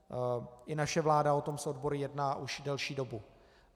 I naše vláda o tom s odbory jedná už delší dobu.